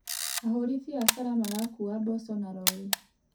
Ahũri biacara marakuua mboco na rori.